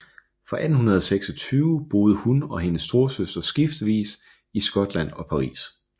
Fra 1826 boede hun og hendes storesøster skiftevis i Skotland og Paris